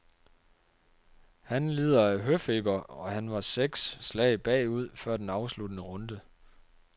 Han lider af høfeber, og han var seks slag bagud før den afsluttende runde.